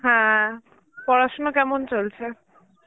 হ্যাঁ পড়াশোনা কেমন চলছে?